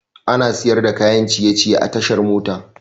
Ana siyar da kayan ciye ciye a tashar mota